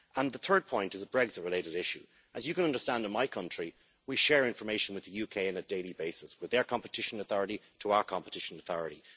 The third point is a Brexit related issue as you can understand, in my country we share information with the UK on a daily basis, with their competition authority to our competition authority.